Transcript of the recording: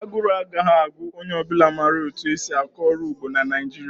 Aguru agaghị agu onye ọ bụla ma etu esi akọ ọrụ ugbo na Naịjirịa